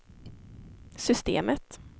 systemet